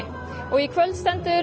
og í kvöld stendur